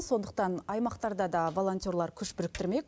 сондықтан аймақтарда да волонтерлар күш біріктірмек